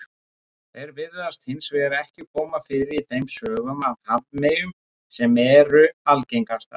Þeir virðast hins vegar ekki koma fyrir í þeim sögum af hafmeyjum sem eru algengastar.